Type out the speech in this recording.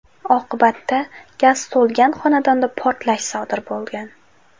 Oqibatda gaz to‘lgan xonadonda portlash sodir bo‘lgan.